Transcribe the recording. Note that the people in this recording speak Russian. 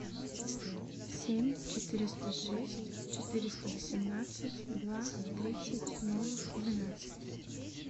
семь четыреста шесть четыреста восемнадцать два тридцать ноль двенадцать